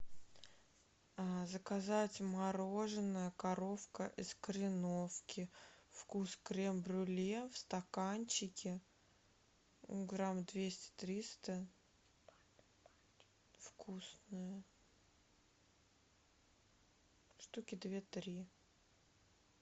заказать мороженое коровка из кореновки вкус крем брюле в стаканчике грамм двести триста вкусное штуки две три